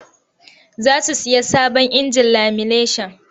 Za su sayi sabon injin lamineshan.